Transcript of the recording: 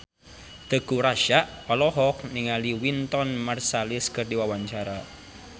Teuku Rassya olohok ningali Wynton Marsalis keur diwawancara